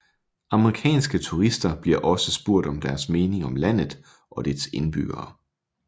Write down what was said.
Amerikanske turister bliver også spurgt om deres mening om landet og dets indbyggere